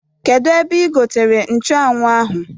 Kedu ebe igotere nchuanwụ ahụ?